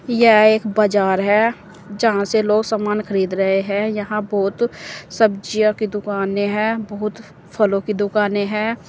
यह एक बाजार है जहां से लोग सामान खरीद रहे हैं यहां बहोत सब्जियों की दुकाने है बहुत फलों की दुकाने है।